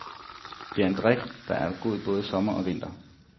Det er en drink, der er god både sommer og vinter.